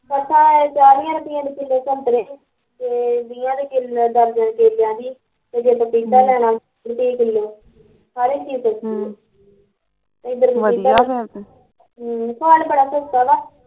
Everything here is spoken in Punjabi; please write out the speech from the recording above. ਸਾਡੇ ਏਥੇ ਚਾਲੀਂਆ ਰੁਪਏ ਦੇ ਕਿਲੋ ਸਤਰੇ, ਤੇ ਵੀਹਾ ਦੀ ਦਰਜਨ ਕੇਲਿਆ ਦੀ, ਪਪੀਤਾ ਲੈਨਾ ਵਾ ਅੱਸੀ ਰੁਪਏ ਕਿਲੋ ਸਾਰੀ ਚੀਜ਼ ਸਸਤੀ ਆ ਹਮ ਖਾਣ